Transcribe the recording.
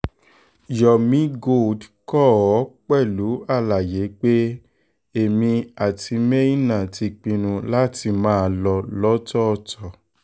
yomi gold kọ ọ́ pẹ̀lú àlàyé pé èmi àtimeinah ti pinnu láti máa lọ lọ́tọ̀ọ̀tọ̀